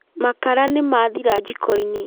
Makara nĩmathira jiko-inĩ